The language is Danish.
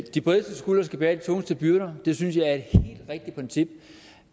de bredeste skuldre skal bære de tungeste byrder det synes jeg